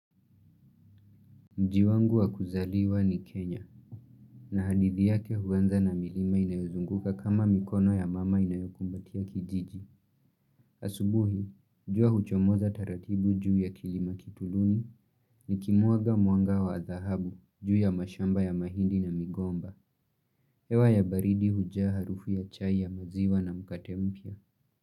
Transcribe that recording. Mji wangu wa kuzaliwa ni Kenya, na hadithi yake huanza na milima inayozunguka kama mikono ya mama inayokumbatia kijiji. Asubuhi, jua huchomoza taratibu juu ya kilima kituluni nikimwaga mwanga wa dhahabu juu ya mashamba ya mahindi na migomba. Hewa ya baridi hujaa harufu ya chai ya maziwa na mkate mpya.